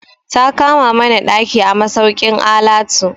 Ta kama mana ɗaki a masaukin alatu.